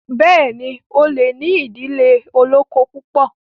béèni o lẹ ní idile olókó púpọ.